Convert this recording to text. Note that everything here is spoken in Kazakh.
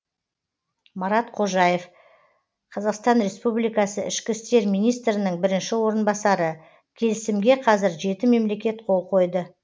марат қожаев қазақстан республикасының ішкі істер министрінің бірінші орынбасары келісімге қазір жеті мемлекет қол қойды